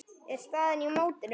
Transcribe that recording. er staðan í mótinu.